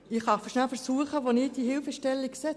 Ich versuche darzustellen, wo ich diese Hilfestellung sehe.